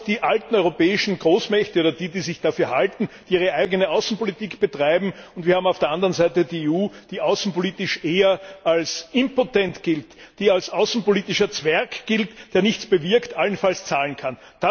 Wir haben noch die alten europäischen Großmächte oder die, die sich dafür halten, die ihre eigene Außenpolitik betreiben, und wir haben auf der anderen Seite die EU, die außenpolitisch eher als impotent gilt, die als außenpolitischer Zwerg gilt, der nichts bewirkt, allenfalls zahlen kann.